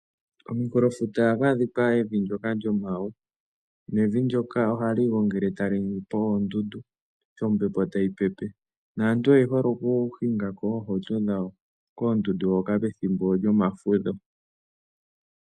Kominkulofuta ohaku adhika evi ndyoka lyomawe. Nevi ndyoka ohali igongele tali ningi po oondundu sho ombepo tayi pepe naantu oye hole okuhinga ko oohauto dhawo koondundu hoka pethimbo lyomafudho.